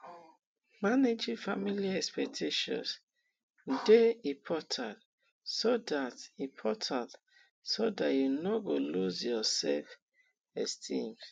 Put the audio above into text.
managing family expectations de important so that important so that you no go loose yor self esteem